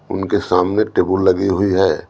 उनके सामने टेबल लगी हुई है।